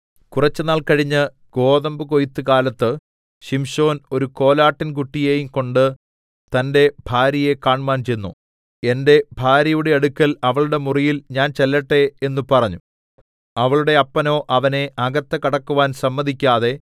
കുറച്ച് നാൾ കഴിഞ്ഞ് ഗോതമ്പ് കൊയ്ത്തുകാലത്ത് ശിംശോൻ ഒരു കോലാട്ടിൻകുട്ടിയെയും കൊണ്ട് തന്റെ ഭാര്യയെ കാണ്മാൻ ചെന്നു എന്റെ ഭാര്യയുടെ അടുക്കൽ അവളുടെ മുറിയിൽ ഞാൻ ചെല്ലട്ടെ എന്ന് പറഞ്ഞു അവളുടെ അപ്പനോ അവനെ അകത്ത് കടക്കുവാൻ സമ്മതിക്കാതെ